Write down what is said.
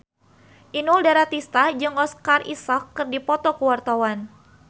Inul Daratista jeung Oscar Isaac keur dipoto ku wartawan